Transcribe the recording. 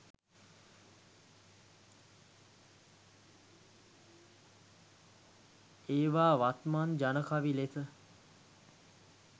ඒවා වත්මන් ජන කවි ලෙස